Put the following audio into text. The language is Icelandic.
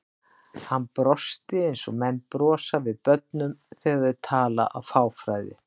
Hann brosti eins og menn brosa við börnum þegar þau tala af fáfræði.